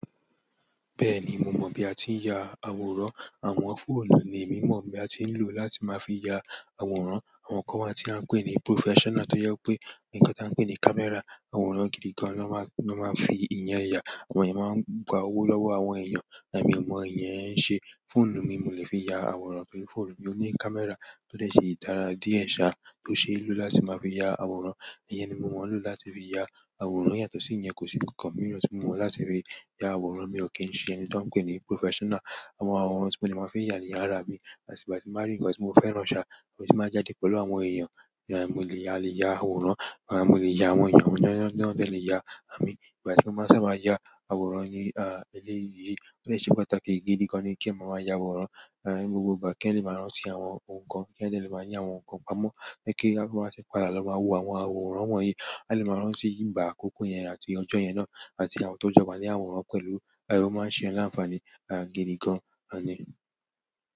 Bẹ́ẹ̀ni mo mọ̀ bí a ti ń ya àwòrán. Àwọn fóònù ni emi mọ̀ bi a ti ń lò láti máa fi ya àwòrán. Àwọn kan wa tí a ń pè ní professional tó jẹ wipé, ǹnkan tí a ń pè ní camera, àwòrán gidi gan na máa, na máa ń fi ìyẹn ya. Àwọn èèyàn máa ń gba owó lọ́wọ́ àwọn èèyàn. Ẹ̀mi o mọ iyen ń ṣe. Fóònù mi, mo lè fi ya àwòrán torí fóònù mi ò ní camera tó dè ṣi dára díẹ̀ ṣá, tó ṣeé lò láti máa fi ya àwòrán. Iyẹn ni mo mọ̀ lò láti fi ya àwòrán. Yàtọ̀ sí ìyẹn, kò sí ǹnkankan mìíràn tí mo mọ̀ láti fi ya àwòrán. Èmi ò kí ń ṣe ẹni tí wọ́n ń pè ní professional. Àwọn àwòrán tí mo dè máa fi ya ni ára mi àti ìgbà ti n bá rí ǹnkan tí mo fẹ́ran ṣá, ọ̀tún máa je kin pẹ̀lú àwọn èèyàn. Mo lè ya, a lè ya àwòrán. Mo lè ya àwọn èèyàn, àwọn èèyàn náà dè le ya àmì. Ìgbà tí mo maá ṣàba ya àwòrán ni, eléyìí, ó dè ṣe pàtàkì gidi gan ní kí eeyan máa maa ya àwòrán, ni gbogbo ìgbà kí eeyan le máa rántí àwọn ohun kan, kí eeyan de lè máa ni àwọn ohun kan. Amọ́, pe kí a fi máa ṣe padà lọ máa wo àwọn àwòrán wọ̀nyí, à lè máa rántí ìgbà àkọ́kọ́ yẹn àti ọjọ́ yẹn náà àti àwọn tó jọba ní àwòrán pẹ̀lú, ó máa n ṣe eeyan laǹfààní, gidi gan ni.